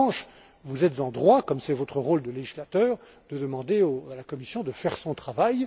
En revanche, vous êtes en droit, comme c'est votre rôle de législateur, de demander à la Commission de faire son travail.